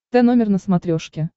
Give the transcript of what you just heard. тномер на смотрешке